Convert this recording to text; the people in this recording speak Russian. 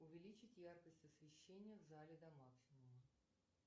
увеличить яркость освещения в зале до максимума